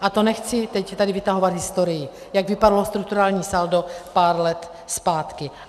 A to nechci teď tady vytahovat historii, jak vypadalo strukturální saldo pár let zpátky.